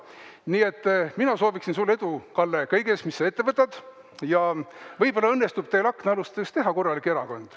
Nii et mina soovin sulle edu, Kalle, kõiges, mis sa ette võtad, ja võib-olla õnnestub teil aknaalustest teha korralik erakond.